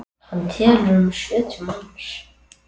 Hann telur um sjötíu manns.